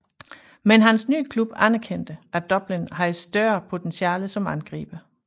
Men hans nye klub anerkendte at Dublin havde større potentiale som angriber